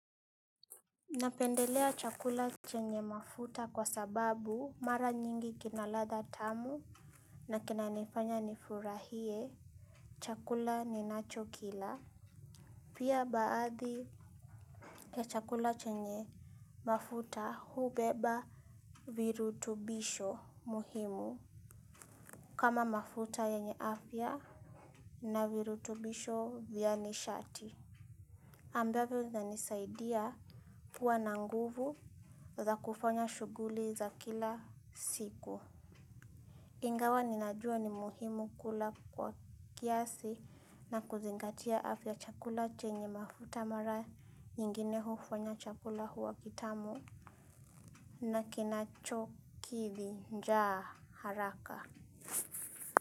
Napendelea chakula chenye mafuta kwa sababu mara nyingi kinaladha tamu na kinanifanya nifurahie. Chakula ninacho kila pia baadhi ya chakula chenye mafuta hubeba virutubisho muhimu kama mafuta yenye afya na virutubisho vyani shati ambavyo vyanisaidia kuwa na nguvu za kufanya shughuli za kila siku ingawa ninajua ni muhimu kula kwa kiasi na kuzingatia afya chakula chenye mafuta mara nyingine hufanya chakula huwa kitamu. Na kinacho kithi njaa haraka.